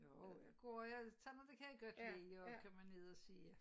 Jo nu går jeg sådan noget det kan jeg godt lide at komme ned og se